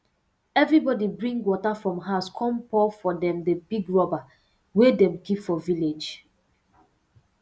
everybody bring water from house come pour for um the big rubber wey dem keep for village